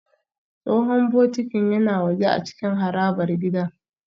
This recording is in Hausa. Tsohon bokitin yana waje a cikin harabar gidan